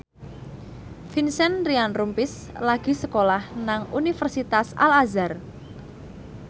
Vincent Ryan Rompies lagi sekolah nang Universitas Al Azhar